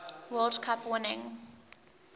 world cup winning